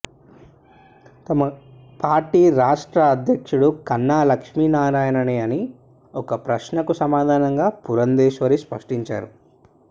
తమ పార్టీ రాష్ట్ర అధ్యక్షుడు కన్నా లక్ష్మీనారాయణేనని ఒక ప్రశ్నకు సమాధానంగా పురంద్రేశ్వరి స్పష్టంచేశారు